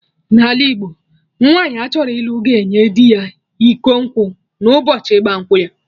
N'ala Igbo, nwaanyi achọrọ ịlụ ga-enye dị ya iko nkwụ na ụbọchị ịgba nkwụ ya